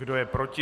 Kdo je proti?